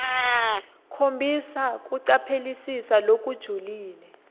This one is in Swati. khombisa kucaphelisisa lokujulile